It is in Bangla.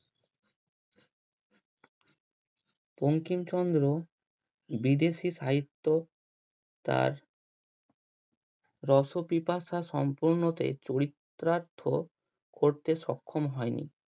বঙ্কিমচন্দ্র বিদেশি সাহিত্য তার রসপিপাসা সম্পূর্ণতে চরিত্রার্থ করতে সক্ষম হয়নি।